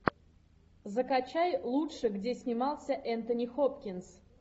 закачай лучшее где снимался энтони хопкинс